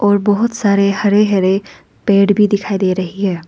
और बहुत सारे हरे हरे पेड़ भी दिखाई दे रही है।